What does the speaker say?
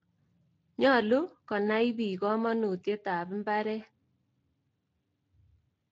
Nyalu konai piik kamanutiet ap mbaret.